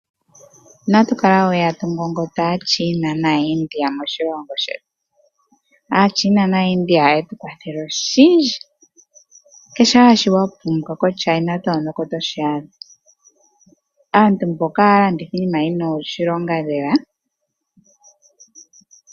Inatu kala we tatu ngongota Aachina naaIndia moshilongo shetu. Aachina naaIndia ohaye tu kwathele oshindji. Kehe shoka wa pumbwa koChina Town oko to shi adha. Aantu mbaka ohaya landitha iinima yi na oshilonga lela.